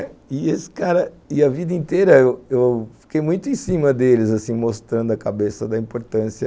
E esse cara, e a vida inteira eu eu fiquei muito em cima deles, assim, mostrando a cabeça da importância.